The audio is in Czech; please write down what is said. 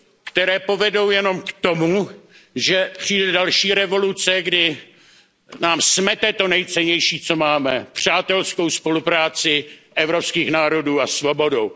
které povedou jenom k tomu, že přijde další revoluce, která nám smete to nejcennější, co máme, přátelskou spolupráci evropských národů a svobodu.